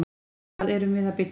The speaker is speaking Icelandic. Hvað erum við að byggja?